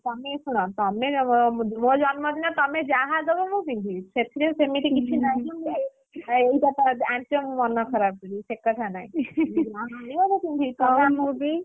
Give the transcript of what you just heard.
ତମେ ଶୁଣ ତମେ ମୋ ଜନ୍ମ ଦିନରେ ତମେ ଯାହା ଦବ ମୁଁ ପିନ୍ଧିବି ସେଥିରେ ସେମିତି କିଛି ନାହିଁ ଯେ ଏଇଟା ଆଣିଛ ମୁଁ ମନ ଖରାପ କରିବି। ସେକଥା ନାହିଁ, ଯାହା ଆଣିବ ମୁଁ ପିନ୍ଧିବି ନହେଲେ ମୁଁ ବି?